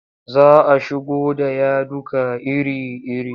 Za a shigo da yaduka iri-iri.